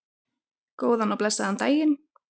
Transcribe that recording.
Góðan og blessaðan daginn!